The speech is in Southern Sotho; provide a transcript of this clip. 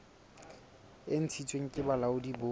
e ntshitsweng ke bolaodi bo